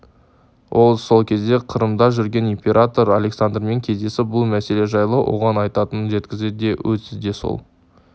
ол сол кезде қырымда жүрген император александрмен кездесіп бұл мәселе жайлы оған айтатынын жеткізді де өзі де сол